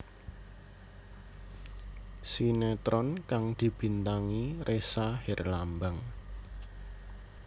Sinetron kang dibintangi Ressa Herlambang